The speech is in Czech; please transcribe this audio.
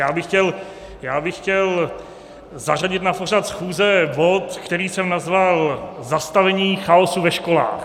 Já bych chtěl zařadit na pořad schůze bod, který jsem nazval Zastavení chaosu ve školách.